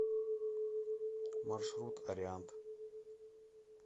маршрут ариант